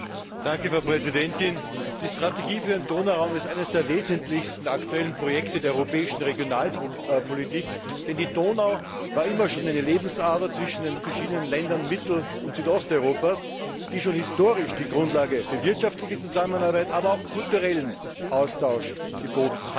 Frau Präsidentin! Die Strategie für den Donauraum ist eines der wesentlichsten aktuellen Projekte der europäischen Regionalpolitik, denn die Donau war immer schon eine Lebensader zwischen den verschiedenen Ländern Mittel und Osteuropas, die schon historisch die Grundlage für wirtschaftliche Zusammenarbeit, aber auch kulturellen Austausch geboten hat.